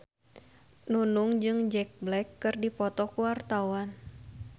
Nunung jeung Jack Black keur dipoto ku wartawan